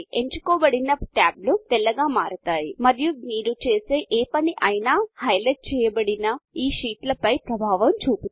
ఎంచుకోబడిన టాబ్లు తెల్లగా మారతాయి మరియు మీరు చేసే ఏ పని అయినా హైలైట్చేయబడిన ఈ షీట్ల పై ప్రభావము చూపుతుంది